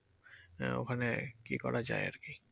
হ্যা ওখানে কি করা যায় আরকি?